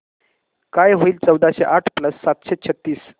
काय होईल चौदाशे आठ प्लस सातशे छ्त्तीस